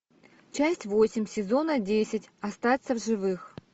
часть восемь сезона десять остаться в живых